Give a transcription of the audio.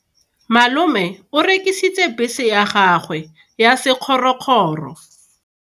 Malome o rekisitse bese ya gagwe ya sekgorokgoro.